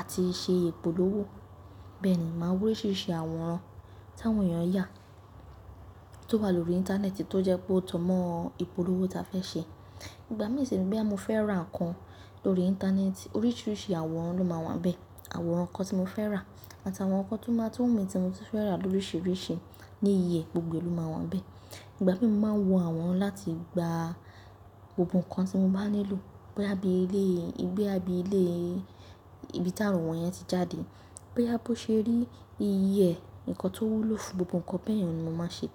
àti ṣe ìpolówó. Bẹ́ẹ̀ ni, màá wa oríṣiríṣi àwòrán táwọn èèyàn yà tó wà lórí Íńtánẹ́ẹ̀tì tó jẹ́ pé ó jọ́ mọ́ ìpolówó ta fẹ́ ṣe. Ìgbà mí sì ni boya mo fẹ́ rà nǹkan lórí Íńtánẹ́ẹ̀tì, oríṣiríṣi àwòrán ló máa wà nbẹ̀. Àwòrán nǹkan tí mo fẹ́ rà àtàwọn nǹkan tó máa tun wu mi tí mo ti fẹ́ rà lóríṣiríṣi ní iye e, gbogbo e ló máa wà nbẹ̀. Ìgbà mí mo máa ń wo àwòrán láti gba gbogbo nǹkan tí mo bá nílò. Boya bí ilé, ibi tí àwòn yẹn ti jáde. Boya bó ṣe rí, iye e, nǹkan tó wúlò fún gbogbo nǹkan bẹ́ẹ̀ yẹn ni mo máa ṣe.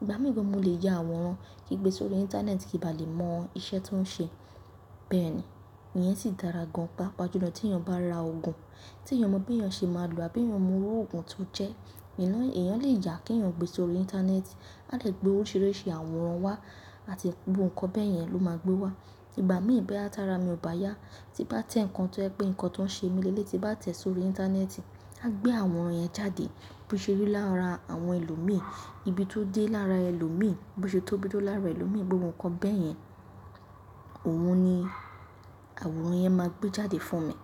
Ìgbà mí gan, mo lè yà àwòrán ki n gbe sórí Íńtánẹ́ẹ̀tì kí bà lè mọ iṣẹ́ tó ń ṣe. Bẹ́ẹ̀ ni, ìyẹn sì dára gan. Pápá jù lọ tí èèyàn bá ra òògùn, tí èèyàn o mọ bí eeyan ṣe máa lò àbí eeyan o mọ iru òògùn tó jẹ́. E yan-èèyàn lè yà kí èèyàn gbé sórí Íńtánẹ́ẹ̀tì. A de gbé oríṣiríṣi àwòrán wá àti gbogbo nǹkan bẹ́ẹ̀ yẹn ló máa gbé wá. Ìgbà mí boya tá ra mi ò bá yá, tí bá tẹ̀ nǹkan tẹ́ je pé nǹkan tó ń ṣe mí lẹ́lẹ̀i tí bá tẹ̀ sórí Íńtánẹ́ẹ̀tì, à gbé àwòrán yẹn jáde. Boṣe rí lára àwọn ẹlòmíi, ibi tó dé lára ẹlòmíi, bo ṣe tóbi tó lára ẹlòmíi, gbogbo nǹkan bẹ́ẹ̀ yẹn òun ni àwòrán yẹn máa gbé jáde fún mi.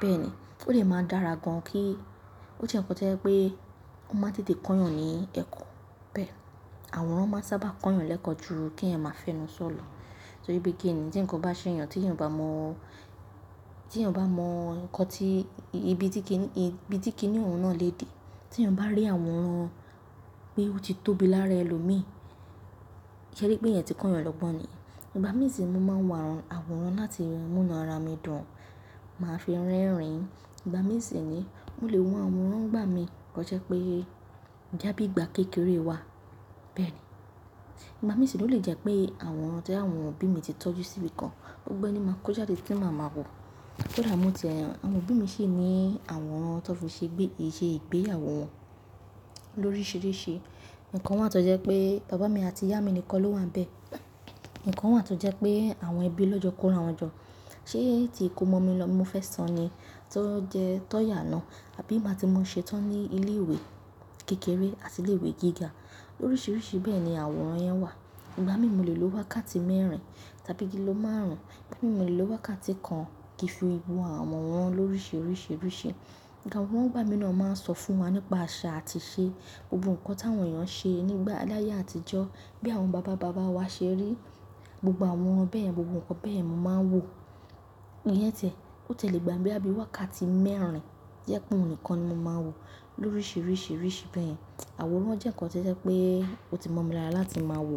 Bẹ́ẹ̀ ni, ó dè máa dára gan kí ó jẹ́ nǹkan tí je pé ó máa tètè kọ́ èèyàn ní ẹ̀kọ́. Bẹ́ẹ̀, àwòrán máa sábà kọ́ èèyàn lẹ́kọ̀ọ́ ju kí èèyàn máa fẹ́nu sọ̀ lọ. So bí i gé ni tí nǹkan bá ṣẹ́ èèyàn tí èèyàn bá mọ̀, tí èèyàn bá mọ̀ nǹkan tí ibi tí kí ní òun náà lè dé. Tí èèyàn bá rí àwòrán pé ó ti tóbi lára ẹlòmíi, ṣé ẹ rí pé ìyẹn ti kọ́ èèyàn lọ́gbon ni? Ìgbà mí sì mo máa ń wà àwòrán láti mú inú ara mi dùn, màá fi rẹ́rìn-ín. Ìgbà mí sì ni mó lè wọ́n àwòrán ńgbà mí kó jẹ́ pé boya bí ìgbà kékeré wà. Bẹ́ẹ̀ ni, ìgbà mí sì re o lè jẹ́ pé àwòrán tí àwọn òbí mi ti tọ́jú sí ibi kan, gbogbo ẹni máa kó jáde tí màá ma wò. Koda mo ti ẹ. Àwọn òbí mi sì ní àwòrán tó fi ṣe gbé, iṣẹ́ ìgbéyawo won lóríṣiríṣi. Ikan wa tó jẹ́ pé bàbá mi àti ìyá mi nìkan ló wà nbẹ̀. Ikan kan wa tó jẹ́ pé àwọn ẹbí lọ́jọ́ kó ra wọn jọ. Ṣé ètí ìkómọ mi lọ, mo fẹ́ sọ ni, tó jẹ́, tọ́ yà náà, àbí ngba ti mọ ṣetán ní ilé ìwé kékeré àti ilé ìwé gíga. Oríṣiríṣi bẹ́ẹ̀ ni àwòrán yẹn wà. Ìgbà mí mo lè lo wákàtí mẹ́rin tàbí kí ló máàrún, tori mo lè lo wákàtí kan kí fi wo àwọn àwòrán lóríṣiríṣi, oríṣi. Àwòrán ńigbàmí náà máa ń sọ fún wa nípa àṣà àti ìṣe gbogbo nǹkan táwọn èèyàn ṣe nígbà aláyé àtijọ́ bí àwọn bàbá bàbá wa ṣe rí. Gbogbo àwọn bẹ́yen, gbogbo nǹkan bẹ́yen, mò ń máa wò. Ìyẹn ti e, ó ti e lé gbà mi boya bii wákàtí mẹ́rin tojẹ́ pé òun nìkan ni mò máa wò. Lóríṣiríṣi, oríṣi bẹ́yen, àwòrán jẹ́ nǹkan tí o pé ó ti mọ́ mi lára láti máa wò.